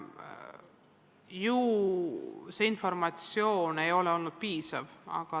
Ju see informatsioon ei ole olnud piisav.